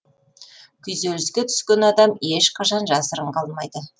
күйзеліске түскен адам ешқашан жасырын қалмайды